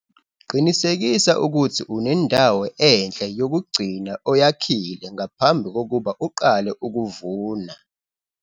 Qinisekisa ukuthi unendawo enhle yokugcina oyakhile ngaphambi kokuba uqale ukuvuna.